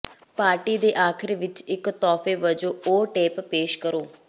party ਦੇ ਅਖੀਰ ਵਿਚ ਇਕ ਤੋਹਫ਼ੇ ਵਜੋਂ ਉਹ ਟੇਪ ਪੇਸ਼ ਕਰੋ